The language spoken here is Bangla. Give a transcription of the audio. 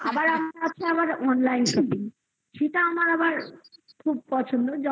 আবার আপনার হচ্ছে আবার online shopping. সেটা আমার আবার খুব পছন্দ